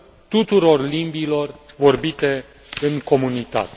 tuturor limbilor vorbite în comunitate.